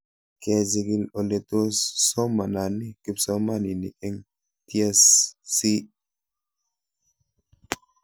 Ke chikil ole tos somani kipsomanik eng' TSES